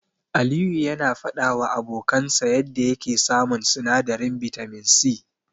Aliyu yana faɗawa abokansa yanda yake samun sinadarin bitamin C.